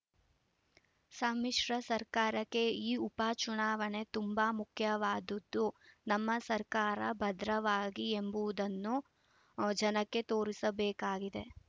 ಸಮ್ಮಿಶ್ರ ಸರ್ಕಾರಕ್ಕೆ ಈ ಉಪಚುನಾವಣೆ ತುಂಬಾ ಮುಖ್ಯವಾದದ್ದು ನಮ್ಮ ಸರ್ಕಾರ ಭದ್ರವಾಗಿ ಎಂಬುದನ್ನು ಜನಕ್ಕೆ ತೋರಿಸಬೇಕಾಗಿದೆ